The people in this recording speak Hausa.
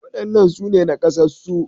Waɗannan su ne naƙasassu